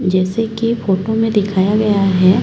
जैसे की फोटो में दिखाया गया है--